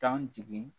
Tan jigin